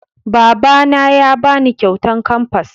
Baba na ya ba ni kyautan kamfas